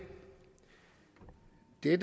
er